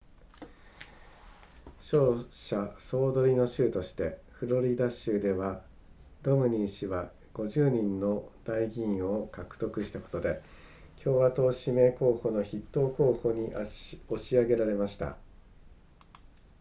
勝者総取りの州としてフロリダ州ではロムニー氏は50人の代議員を獲得したことで共和党指名候補の筆頭候補に押し上げられました